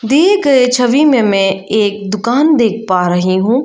दिए गए छवि में मैं एक दुकान देख पा रही हूं।